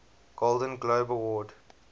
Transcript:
golden globe award